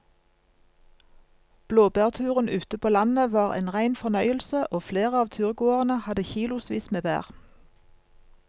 Blåbærturen ute på landet var en rein fornøyelse og flere av turgåerene hadde kilosvis med bær.